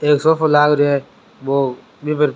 एक सोफा लाग रो है बो बि पर --